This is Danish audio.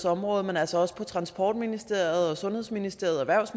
område men altså også på transportministeriets og sundhedsministeriets